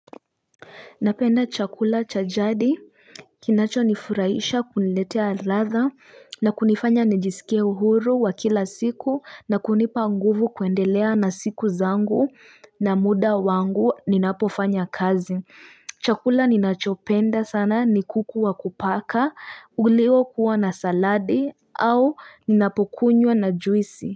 Napenda chakula cha jadi, kinachonifurahisha kuniletea latha na kunifanya nijisikie uhuru wa kila siku na kunipa nguvu kuendelea na siku zangu na muda wangu ninapofanya kazi. Chakula ninachopenda sana ni kuku wa kupaka, uliokuwa na saladi au ninapokunywa na juisi.